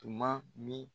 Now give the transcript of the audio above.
Tuma min